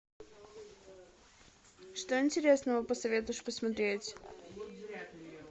что интересного посоветуешь посмотреть